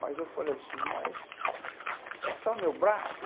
Mas eu falei assim, mas é só o meu braço?